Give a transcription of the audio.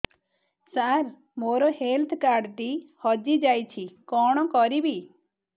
ସାର ମୋର health card ଟି ହଜି ଯାଇଛି କଣ କରିବି